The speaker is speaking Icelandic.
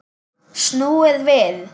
Snúðu við!